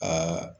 Aa